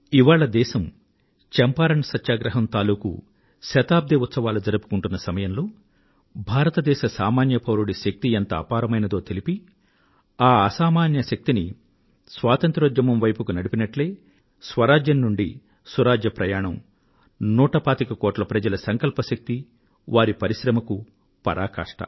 ఇవాళ దేశం చంపారణ్ సత్యాగ్రహం తాలూకు శతాబ్ది ఉత్సవాలు జరుపుకుంటున్న సమయంలో భారతదేశ సామాన్య పౌరుడి శక్తి ఎంత అపారమైందో తెలిపి ఆ అసామాన్య శక్తిని స్వాతంత్ర్య ఉద్యమం వైపునకు నడిపినట్లే స్వరాజ్యం నుండి సురాజ్య ప్రయాణం నూట పాతిక కోట్ల మంది ప్రజల సంకల్ప శక్తి వారి పరిశ్రమకు పరాకాష్ట